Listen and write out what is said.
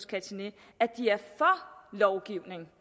catinét at de er for lovgivning